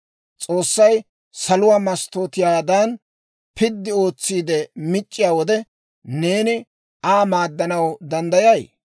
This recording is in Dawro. S'oossay saluwaa masttootiyaadan piddi ootsiide mic'c'iyaa wode, neeni Aa maaddanaw danddayay?